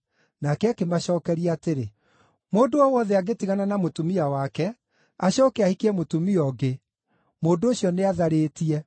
Nake akĩmacookeria atĩrĩ, “Mũndũ o wothe angĩtigana na mũtumia wake acooke ahikie mũtumia ũngĩ, mũndũ ũcio nĩ atharĩtie.